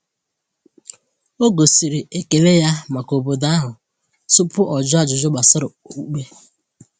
O gosiri ekele ya maka obodo ahụ tupu o jụọ ajụjụ gbasara okpukpe.